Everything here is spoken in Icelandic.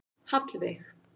Hallveig